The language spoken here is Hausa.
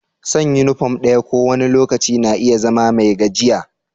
San' uniform ɗaya ko wani lokaci na iya zama mai gajiya.